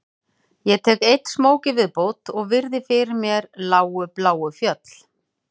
Ég tek einn smók í viðbót og virði fyrir mér lágu bláu fjöll